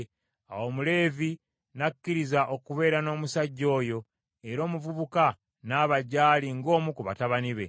Awo Omuleevi n’akkiriza okubeera n’omusajja oyo, era omuvubuka n’aba gy’ali ng’omu ku batabani be.